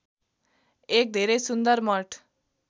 एक धेरै सुन्दर मठ